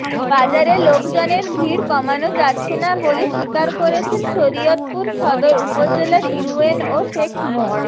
বাজারে লোকজনের ভিড় কমনো যাচ্ছে না বলে স্বীকার করেছেন শরীয়তপুর সদর উপজেলার ইউএনও শেখ মো